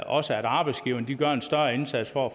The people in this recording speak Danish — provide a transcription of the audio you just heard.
også at arbejdsgiverne gør en større indsats for